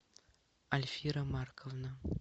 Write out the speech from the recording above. альфира марковна